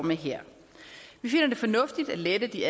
med her vi finder det fornuftigt at lette de